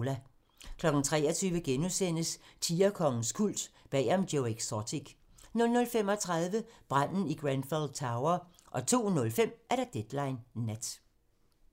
23:00: Tigerkongens kult - bag om Joe Exotic * 00:35: Branden i Grenfell Tower 02:05: Deadline Nat